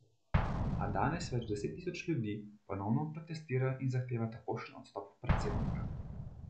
A danes več deset tisoč ljudi ponovno protestira in zahteva takojšen odstop predsednika.